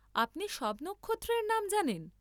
আপনি সব নক্ষত্রের নাম জানেন?